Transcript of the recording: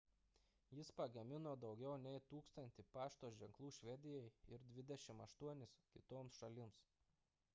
jis pagamino daugiau nei 1 000 pašto ženklų švedijai ir 28 kitoms šalims